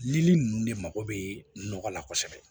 Lili ninnu de mako bɛ nɔgɔ la kosɛbɛ